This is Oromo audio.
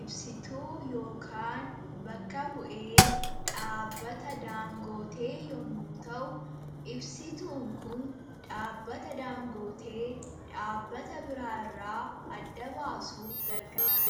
ibsituu yookaan bakka bu'ee dhaabbata daangootee yommu ta'u ibsituun kun dhaabbata daangootee dhaabbata biraa irraa adda baasuuf gargaara.